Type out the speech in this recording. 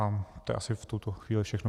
A to je asi v tuto chvíli všechno.